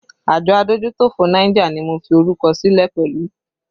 Àjọ adójútòfò Niger ni mo fi orúkọ sílẹ̀ pẹ̀lú